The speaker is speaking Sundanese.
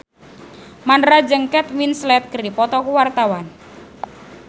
Mandra jeung Kate Winslet keur dipoto ku wartawan